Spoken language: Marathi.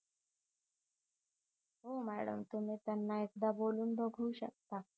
हो मॅडम तुम्ही त्यांना बोलून बघू शकता